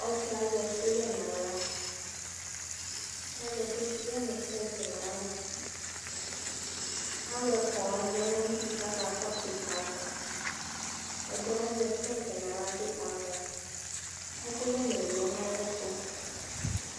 Ɔsi ɛ azɛ ɛkʋyɛ n'aɣla Azɛ ɛkʋyɛ nʋ plɛti n'aɣla Alʋɛ fua wani yanʋ ayidu kakɔsʋ yi kamɔ Ɛdi yɛ azɛ plɛti n'aɣla bi kamɔ Ɛkʋyɛ ni lɛ nʋ ayɛtʋ